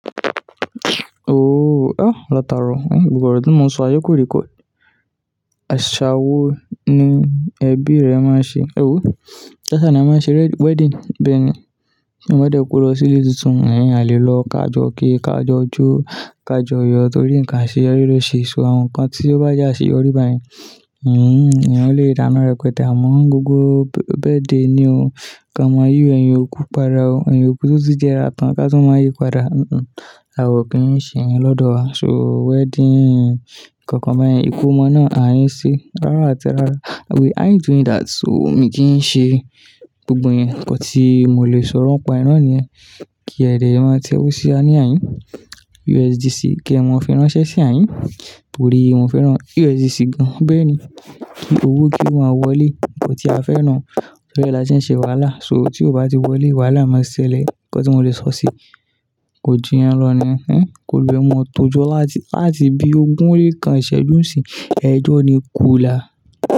Ooo, a, làtàro, gbogbo ọ̀rọ̀ tí mo ń sọyi, kò record. Àṣa wo ni ẹbí rẹ máa ń ṣe, ewọ, kàṣa ni a máa ń ṣe wedding, bẹ́ẹ̀ ni, ti èèyàn dẹ́ kò lọ sí ilé tuntun, ẹ̀n, à lé lọ ká jọ ki, ká jọ jó, ká jọ yọ torí nǹkan àṣeyọrí ló ṣe so àwọn nǹkan tí ó bá jẹ àṣeyọrí bá yen. Híhun, ẹ̀yán lè dáná rẹpẹtẹ̀ àmọ́ gbogbo birthday ni o, ká ma yi ẹ̀yin òkú pada o, ẹ̀yin òkú to tí jẹ́ra tán ká tú má yí padà. Huhhn, àwa o kì í ṣe ẹ́ lọ́dọ̀ wa, ṣọ wedding kankan bayen, ìkómọ náà à ń ṣe rárá àti rárá. We ain't doing that, o wumi kì í ṣe gbogbo iyen, nnkan tí mo lè sọrọ nipa ẹ́. Ki ẹ̀ dẹ̀ ẹ má tẹ́wó sí à ni àhìn. USDC kí ẹ mọ fẹ́ ránṣẹ́ sí àhin. Torí, mo fẹ́ rán USDC gan. Bẹ́ẹ̀ni, kí owó kí o maa wọlé, nnkan tí a fẹ́ nu Torí ẹ́ la se ń ṣe wàhálà, so tí ó bá ti wọlé, wàhálà máa ṣẹlẹ̀. Nnkan tí mo lè sọ sí i, kòju iyen lọ niyen ehn, ki òlúwaẹ́ mọ́ tòjọ́ láti, láti bí ogún o le kan ìṣẹ́jú sí, ẹjọ́ ni kúlà.